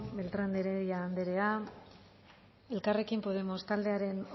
beltrán de heredia andrea elkarrekin podemos taldearen